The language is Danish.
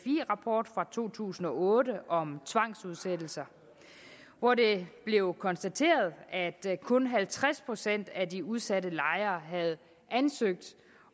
rapport fra to tusind og otte om tvangsudsættelser hvor det blev konstateret at kun halvtreds procent af de udsatte lejere havde ansøgt